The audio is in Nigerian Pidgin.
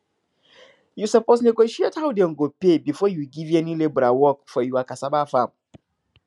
you suppose negotiate how dem go pay before you give any labourer work for your cassava farm